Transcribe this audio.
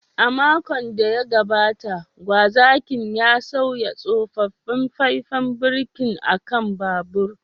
A makon da ya gabata, gwazakin ya sauya tsofaffin faifan birki a kan babur.